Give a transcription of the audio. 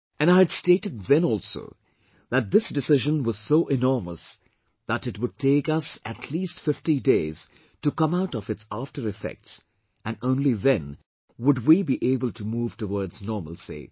And I had stated then also that this decision was so enormous that it would take us at least 50 days to come out of its after effects and only then would we be able to move towards normalcy